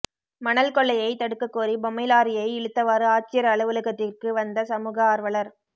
மணல் கொள்ளையை தடுக்க கோரி பொம்மை லாரியை இழுத்தவாறு ஆட்சியா் அலுவலகத்திற்கு வந்த சமூக ஆா்வலா்